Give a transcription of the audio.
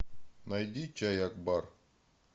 найди чай акбар